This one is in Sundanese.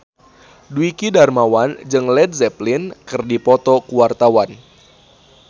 Dwiki Darmawan jeung Led Zeppelin keur dipoto ku wartawan